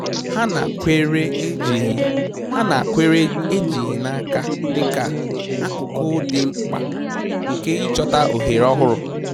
Ha nakweere ejighị Ha nakweere ejighị n'aka dị ka akụkụ dị mkpa nke ịchọta ohere ọhụrụ